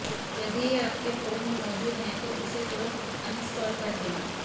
यदि यह आपके फोन में मौजूद हैं तो इसे तुरंत अनइंस्टॉल कर दें